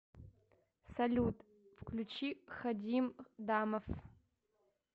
салют включи хадим дамов